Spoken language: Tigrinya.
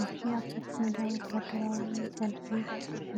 እዚ ኣብ ሰፊሕ ሜዳ ወተሃደራዊ ሰልፊ